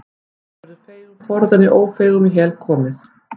Ekki verður feigum forðað né ófeigum í hel komið.